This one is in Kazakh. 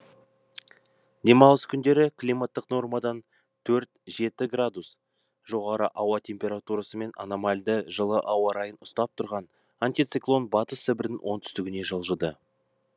демалыс күндері климаттық нормадан төрт жеті градус жоғары ауа температурасымен аномальді жылы ауа райын ұстап тұрған антициклон батыс сібірдің оңтүстігіне жылжыды